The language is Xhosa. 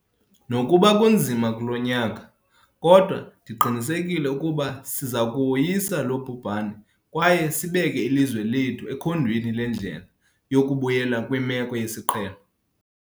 Nokuba kunzima kulo nyaka, kodwa ndiqinisekile ukuba siza kuwoyisa lo bhubhane kwaye sibeke ilizwe lethu ekhondweni lendlela yokubuyela kwimeko yesiqhelo.